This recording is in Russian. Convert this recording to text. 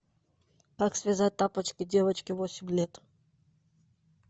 как связать тапочки девочке восемь лет